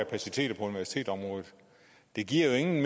kapaciteter på universitetsområdet det giver jo ingen